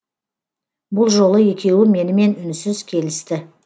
бұл жолы екеуі менімен үнсіз келісті